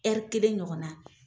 kelen ɲɔgɔn na.